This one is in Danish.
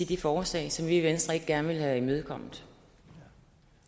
de forslag som vi i venstre ikke gerne ville have imødekommet